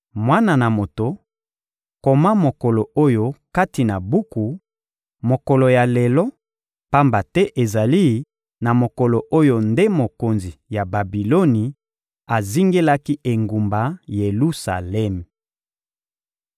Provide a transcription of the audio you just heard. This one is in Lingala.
«Mwana na moto, koma mokolo oyo kati na buku, mokolo ya lelo, pamba te ezali na mokolo oyo nde mokonzi ya Babiloni azingelaki engumba Yelusalemi.